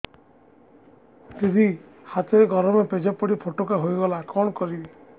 ଦିଦି ହାତରେ ଗରମ ପେଜ ପଡି ଫୋଟକା ହୋଇଗଲା କଣ କରିବି